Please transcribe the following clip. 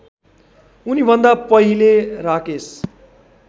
उनीभन्दा पहिले राकेश